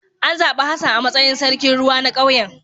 An zabi Hassan a matsayin sarkin ruwa na kauyen